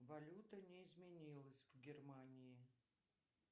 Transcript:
валюта не изменилась в германии